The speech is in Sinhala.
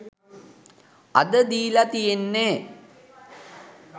අද දීලා තියෙන්නේ